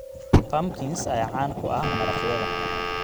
Pumpkins ayaa caan ku ah maraqyada.